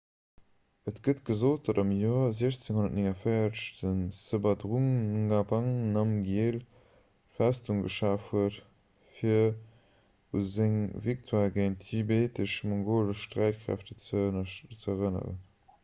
et gëtt gesot datt am joer 1649 den zhabdrung ngawang namgyel d'festung geschaf huet fir u seng victoire géint d'tibetesch-mongolesch sträitkräeften ze erënneren